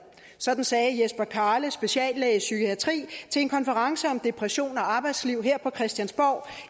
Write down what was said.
sådan sagde jesper karle speciallæge i psykiatri til en konference om depression og arbejdsliv her på christiansborg